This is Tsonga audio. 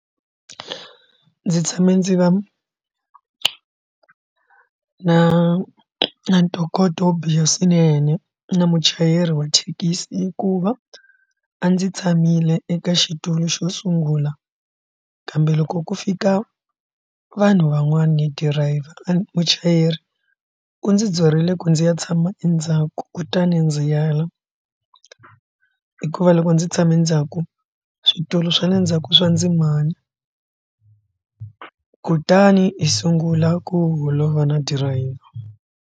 Ndzi tshame ndzi va na ntokoto wo biha swinene na muchayeri wa thekisi hikuva a ndzi tshamile eka xitulu xo sungula kambe loko ku fika vanhu van'wana ni driver muchayeri u ndzi dzirile ku ndzi ya tshama endzhaku kutani ndzi ya la hikuva loko ndzi tshame ndzhaku switulu swa le ndzhaku swa ndzimana kutani u sungula ku holova na driver.